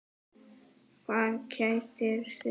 Hvað kætir þig?